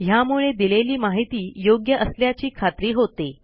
ह्यामुळे दिलेली माहिती योग्य असल्याची खात्री होते